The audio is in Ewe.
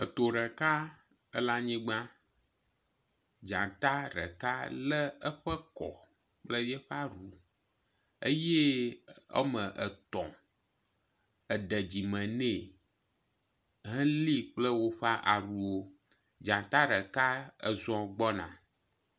To ɖeka ele anyigba. Dzata ɖeka le eƒe kɔ kple eƒe aɖu eye wɔme etɔ̃ ede dzime ne heli kple woƒe aɖuwo. Dzta ɖeka ezɔ gbɔna.